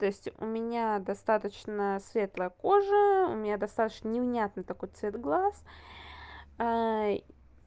то есть у меня достаточно светлая кожа у меня достаточно невнятный такой цвет глаз